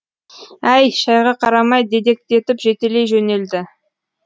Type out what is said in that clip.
әй шайға қарамай дедектетіп жетелей жөнелді